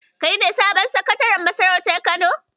Kai ne sabon Sakataren masarautar Kano?